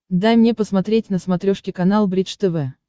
дай мне посмотреть на смотрешке канал бридж тв